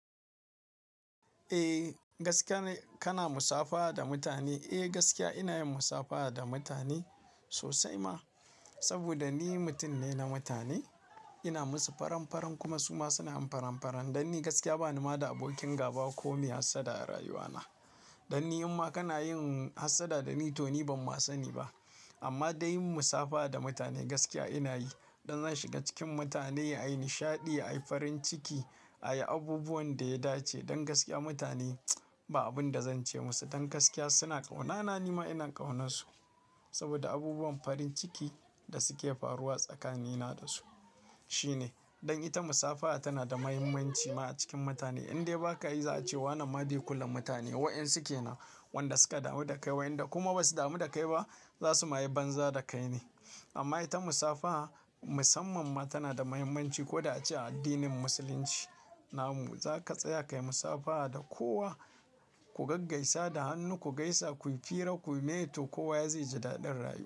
Eh, gaskiya kana musafaha da mutane. Eh, gaskiya ina yin musafaha da mutane sosai ma. Saboda ni mutum ne na mutane. Ina musu faran-faran kuma su ma suna mun faran-faran. Dan ni gaskiya bani ma da abokin gaba ko mai hassada a rayuwana. Dan ni in ma kana yin hassada da ni to ni ban ma sani ba. Amma dan yin musafaha da mutane gaskiya ina yi. Dan zan shiga cikin mutane, ayi nishaɗi, ayi farin ciki, ayi abubuwan da ya dace. Dan gaskiya mutane ba abun da zan ce musu. Dan gaskiya suna ƙaunana, ni ma ina ƙaunansu. Saboda abubuwan farin ciki da suke faruwa tsakanina da su shine. Dan ita musafaha tana da mahimmanci ma a cikin mutane. Indai ba ka yi za a ce wane ma bai kula mutane. Waƴansu ke nan wanda suka damu da kai, waƴanda kuma basu damu da kai ba za su ma yi banza da kai ne. Amma ita musafaha musamman ma tana da mahimmanci. Ko da ace a addinin musulunci namu. Za ka tsaya ka yi musafaha da kowa. Ku gaggaisa da hannu, ku gaisa, ku yi fira, ku yi mai to kowa ya zai ji daɗin rayuwa.